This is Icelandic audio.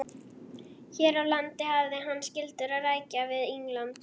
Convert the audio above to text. Hér á landi hafði hann skyldur að rækja við England.